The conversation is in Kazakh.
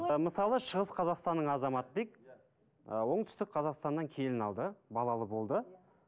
ы мысалы шығыс қазақстанның азаматы дейік ы оңтүстік қазақстаннан келін алды балалы болды